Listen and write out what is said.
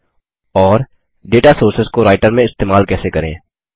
और data sources data sources को writer में इस्तेमाल कैसे करें